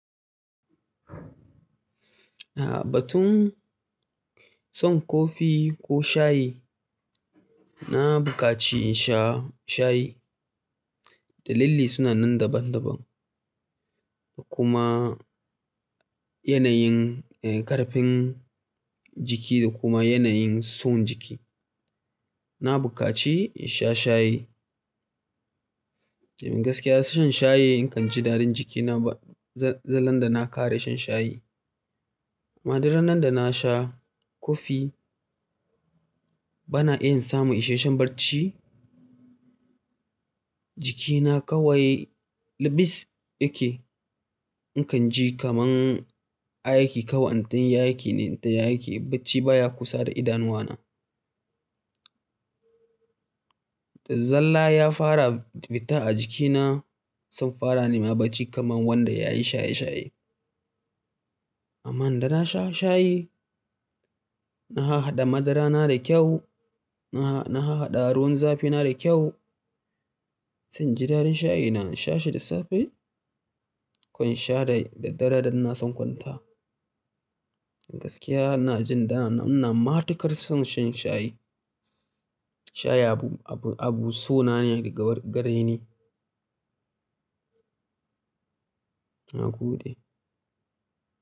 A'a, batun son kofi ko shayi, na buƙaci in sha shayi. Dalili suna nan daban-daban kuma yanayin, eh, ƙarfin jiki da kuma yanayin son jiki. Na buƙaci in sha shayi. In gaskiya, shan shayi in kan ji daɗin jikina ba, za-zallan da na ƙara shan shayi. Amma duk ranan da na sha kofi bana iya in samu isasshen barci jikina kawai lubis yake. In kan ji kaman aiki, kawai in tayi aiki ne, in ta yi aiki barci baya kusa da idanuwa na. Zalla ya fara fita a jikina, sun fara nema barci kaman wanda ya yi shaye-shaye. Amma idan na sha shayi, na hahaɗa madarana da kyau, na ha-na hahaɗa ruwan zafi na da kyau. In ji daɗin shayi, na in sha shi da safe, ko in sha da, da daddare idan ina so in kwanta. Gaskiya ina jin da na, ina matuƙar son shan shayi. Shayi abu, abu, abun sona ne da gaba gare ni. Nagode.